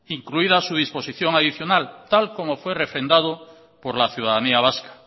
incluida su disposición adicional tal como fue refrendado por la ciudadanía vasca